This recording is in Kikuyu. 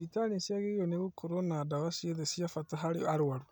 Thibitarĩ nĩciagĩrĩirwo nĩ gũkorwo na ndawa ciothe cia bata harĩ arwaru